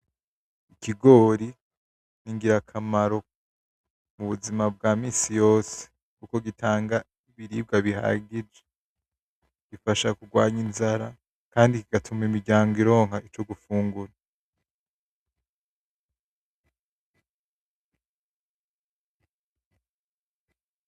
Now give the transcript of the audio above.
Ikigori ni ingirakamaro mu buzima bwa misii yose, kuko gitanga ibiribwa bihagije gifasha kurwanya inzara, kandi kigatuma imiryango ironka ico gufungura.